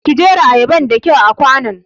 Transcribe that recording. Ki jera ayabar da kyau a kwanon!